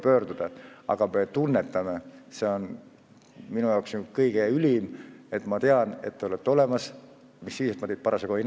Tähendab, et me tunnetame, et te olete olemas ja kui meil on häda käes, siis me saame teie poole pöörduda.